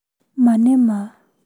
Ma nĩ ma.